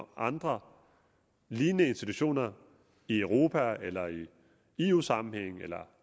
andre lignende institutioner i europa eller i eu sammenhænge eller